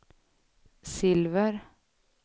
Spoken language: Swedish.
silver